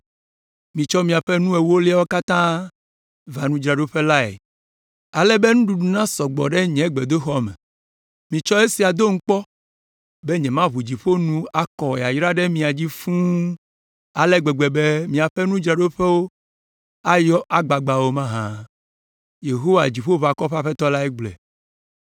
Mitsɔ miaƒe nu ewoliawo katã va nudzraɖoƒe lae ale be nuɖuɖu nasɔ gbɔ ɖe nye gbedoxɔ me. Mitsɔ esia dom kpɔ be nyemaʋu dziƒo nu akɔ yayra ɖe mia dzi fũu ale gbegbe be miaƒe nuɖuɖudzraɖoƒe ayɔ agbagba o mahã? Yehowa, Dziƒoʋakɔwo ƒe Aƒetɔ lae gblɔe.